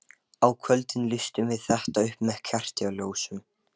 Á kvöldin lýstum við þetta upp með kertaljósum.